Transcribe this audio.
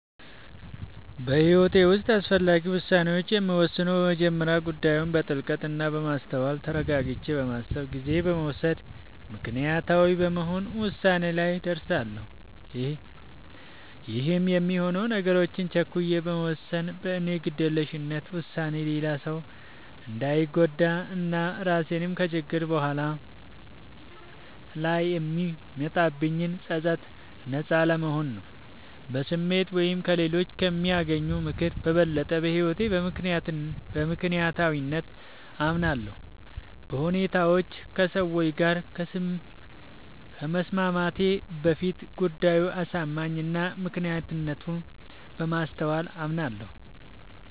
በህይወቴ ዉስጥ አስፈላጊ ዉሳኔዎችን የምወስነው በመጀመሪያ ጉዳዩን በጥልቀት እና በማስተዋል ተረጋግቼ በማሰብ ጊዜ በመዉሰድ ምክንያታዊ በመሆን ዉሳኔ ላይ እደርሳለሁ ይህም የሚሆነው ነገሮችን ቸኩዬ በመወሰን በኔ ግዴለሽነት ዉሳኔ ሌላ ሰዉ እንዳንጎዳ እና ራሴንም ከችግሮች እና በኋላ ላይ ከሚመጣብኝ ፀፀት ነጻ ለመሆን ነዉ። በስሜት ወይም ከሌሎች ከሚያገኘው ምክር በበለጠ በህይወቴ በምክንያታዊነት አምናለሁ፤ በሁኔታዎች ከሰዎች ጋር ከመስማማቴ በፊት ጉዳዩ አሳማኝ እና ምክንያታዊነቱን በማስተዋል አምናለሁ።